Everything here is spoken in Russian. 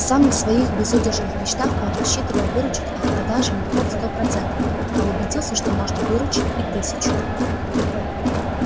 в самых своих безудержных мечтах он рассчитывал выручить от продажи мехов сто процентов а убедился что можно выручить и тысячу